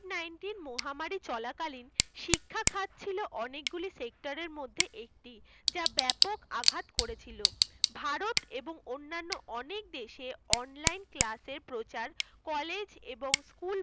মহামারী চলাকালীন শিক্ষাখাত ছিল অনেক গুলি sector এর মধ্যে একটি যা ব্যাপক আঘাত করেছিল ভারত এবং অন্যান্য অনেক দেশ এ online class এর প্রচার college এবং school